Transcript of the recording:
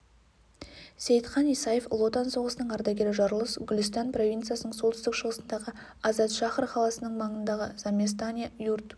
сейітхан исаев ұлы отан соғысының ардагері жарылыс гүлістан провинциясының солтүстік шығысындағы азадшахр қаласының маңындағы заместане юрт